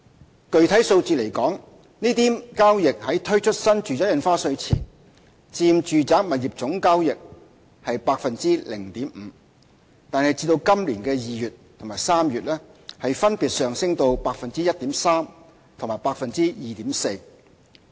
就具體數字而言，這類交易在推出新住宅印花稅前佔住宅物業總交易的 0.5%； 但至今年2月和3月分別上升至 1.3% 和 2.4%。